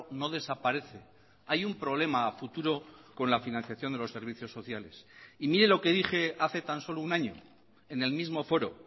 no desaparece hay un problema a futuro con la financiación de los servicios sociales y mire lo que dije hace tan solo un año en el mismo foro